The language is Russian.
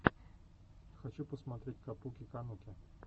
хочу посмотреть капуки кануки